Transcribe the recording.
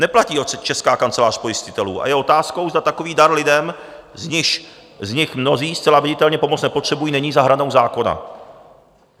Neplatí ho Česká kancelář pojistitelů a je otázkou, zda takový dar lidem, z nichž mnozí zcela viditelně pomoc nepotřebují, není za hranou zákona.